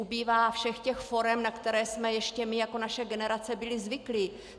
Ubývá všech těch forem, na které jsme ještě my jako naše generace byli zvyklí.